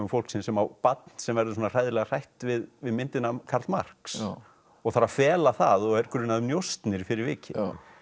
fólksins sem á barn sem verður svona hræðilega hrætt við við myndina af Karl Marx og þarf að fela það og er grunað um njósnir fyrir vikið